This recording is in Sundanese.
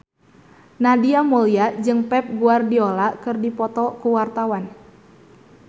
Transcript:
Nadia Mulya jeung Pep Guardiola keur dipoto ku wartawan